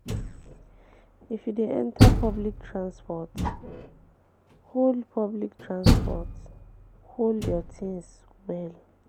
um If you de enter public transport hold public transport hold your things well